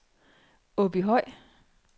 Åbyhøj